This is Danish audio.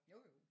Jo jo